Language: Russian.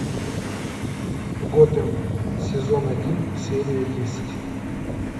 готэм сезон один серия десять